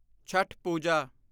Chhath Puja